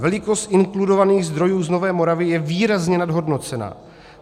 Velikost inkludovaných zdrojů z Nové Moravy je výrazně nadhodnocena.